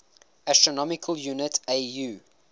astronomical unit au